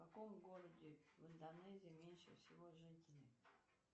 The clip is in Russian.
в каком городе в индонезии меньше всего жителей